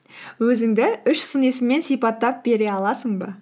өзіңді үш сын есіммен сипаттап бере аласың ба